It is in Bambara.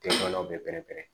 Tɛ banaw bɛ pɛrɛn pɛrɛn